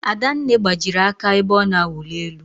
Adanne gbajiri aka ebe ọ na-awuli elu.